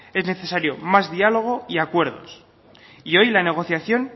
es necesario más diálogo y acuerdos y hoy la negociación